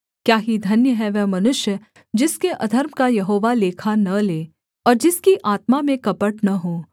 क्या ही धन्य है वह मनुष्य जिसके अधर्म का यहोवा लेखा न ले और जिसकी आत्मा में कपट न हो